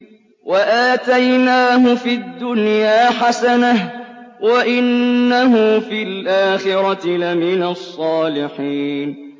وَآتَيْنَاهُ فِي الدُّنْيَا حَسَنَةً ۖ وَإِنَّهُ فِي الْآخِرَةِ لَمِنَ الصَّالِحِينَ